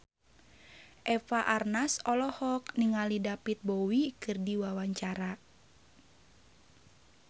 Eva Arnaz olohok ningali David Bowie keur diwawancara